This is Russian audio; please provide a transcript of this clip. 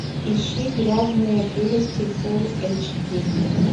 ищи грязные прелести фул эйч ди